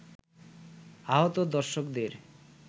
আহত দর্শকদের